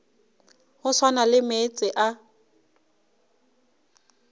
go swana le meetse a